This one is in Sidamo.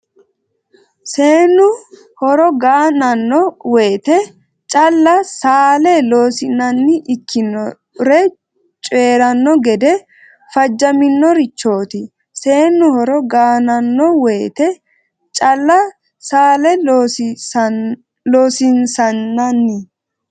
Seennu hore ga nanno woyte calla saala Loossinanni ikkinore coyi ranno gede fajjaminorichooti Seennu hore ga nanno woyte calla saala Loossinanni.